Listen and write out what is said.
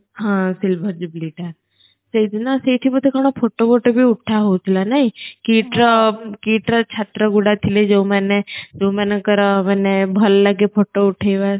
ହଁ silver jubilee ଟା ସେ ଦିନ ସେଇଠି ବୋଧେ କଣ photo ବୋଟୋ ଭି ଉଠା ହୋଉ ଥିଲା ନାହିଁ KIIT ର KIIT ର ଛାତ୍ର ଗୁଡା ଥିଲେ ଯୋଉମାନେ ଯୋଉମାନଙ୍କର ମାନେ ଭଲ ଲାଗେ photo ଉଠେଇବା